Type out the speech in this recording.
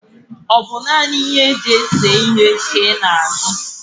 naanị ịnye i na-azụ bu ahịhịa eserese?